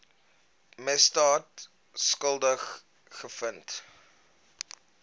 misdaad skuldig bevind